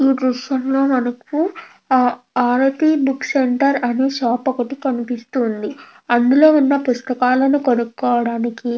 ఈ దృశ్యం లో మనకు ఆర్మీ ఈ విషయంలో మనకు ఆరని బుక్ సెంటర్ అని షాప్ కనబడుతుంది అందులో ఉన్న పుస్తకాలు కొనుక్కోవడానికి --